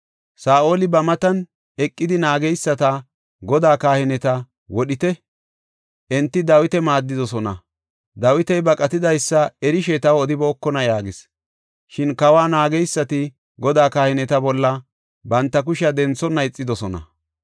Saa7oli ba matan eqidi naageysata, “Godaa kahineta wodhite; enti Dawita maaddidosona. Dawiti baqatidaysa erishe taw odibookona” yaagis. Shin kawa naageysati Godaa kahineta bolla banta kushiya denthonna ixidosona.